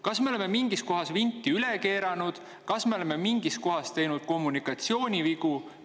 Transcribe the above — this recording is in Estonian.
Kas me oleme mingis kohas vinti üle keeranud või oleme me mingis kohas teinud kommunikatsioonivigu?